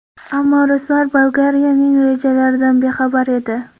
Ammo ruslar Bolgariyaning rejalaridan bexabar edi.